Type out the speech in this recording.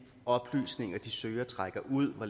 oplysninger de søger og trækker ud og